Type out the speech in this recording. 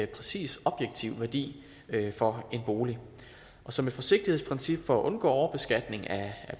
præcis objektivt værdi for en bolig og som et forsigtighedsprincip for at undgå overbeskatning af